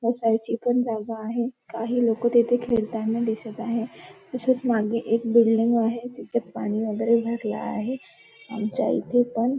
शाळेची पण जागा आहे काही लोक तिथे खेळताना दिसत आहे तसेच मागे एक बिल्डिंग आहे जिच्यात पाणी वैगेरे भरल आहे आमच्या इथे पण --